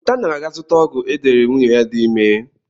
Lotanna ga-aga zụta ọgwụ e deere nwunye ya dị ime.